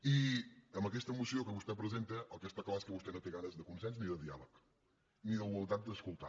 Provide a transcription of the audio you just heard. i amb aquesta moció que vostè presenta el que està clar és que vostè no té ganes ni de consens ni de diàleg ni voluntat d’escoltar